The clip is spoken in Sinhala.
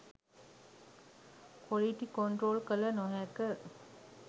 කොලිටි කොන්ට්‍රෝල් කල නොහැක.